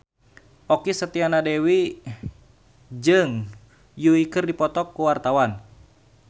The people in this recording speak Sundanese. Okky Setiana Dewi jeung Yui keur dipoto ku wartawan